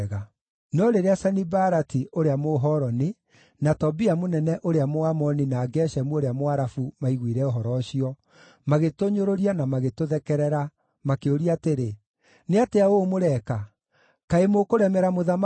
No rĩrĩa Sanibalati ũrĩa Mũhoroni na Tobia mũnene ũrĩa Mũamoni na Geshemu ũrĩa Mũarabu maiguire ũhoro ũcio, magĩtũnyũrũria na magĩtũthekerera, makĩũria atĩrĩ, “Nĩ atĩa ũũ mũreka? Kaĩ mũkũremera mũthamaki?”